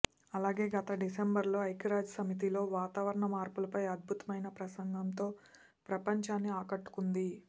అలాగే గత డిసెంబరులో ఐక్యరాజ్య సమితిలో వాతావరణ మార్పులపై అద్భుతమైన ప్రసంగంతో ప్రపంచాన్ని ఆకట్టుకుంది